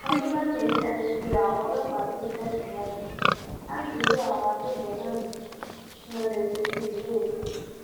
ọdúnlami ni akitiyan àwọn ọlọpàá ṣì ń tẹsíwájú láti rí àwọn agbébọn náà mú kí wọn lè fojú winá òfin